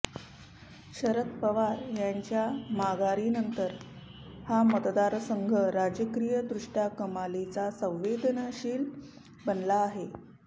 शरद पवार यांच्या माघारीनंतर हा मतदारसंघ राजकीयदृष्ट्या कमालीचा संवेदनशील बनला आहे